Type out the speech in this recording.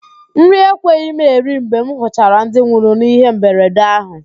Nri ekweghị m eri mgbe m hụchara ndị nwụrụ n'ihe mberede ahụ